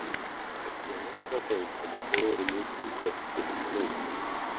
Ég er ein af þeim sem á Dóru mikið gott upp að inna.